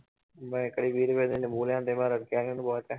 ਮੈਂ ਇੱਕ ਵਾਰੀ ਵੀਹ ਰੁਪਏ ਦੇ ਨਿੰਬੂ ਲਿਆਉਂਦੇ ਮੈਂ ਬਹੁਤ